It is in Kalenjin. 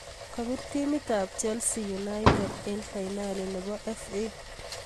Kabiir timit ab chelsea united eng fainali nebo FA